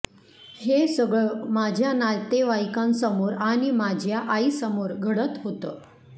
हे सगळं माझ्या नातेवाईकांसमोर आणि माझ्या आईसमोर घडत होतं